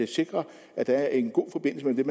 sikre at der er en god forbindelse